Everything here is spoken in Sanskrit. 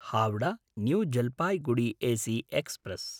Howrah New Jalpaiguri AC express